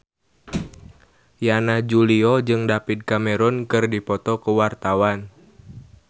Yana Julio jeung David Cameron keur dipoto ku wartawan